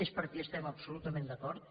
és perquè hi estem absolutament d’acord